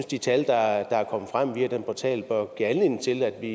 de tal der er kommet frem via den portal bør give anledning til at vi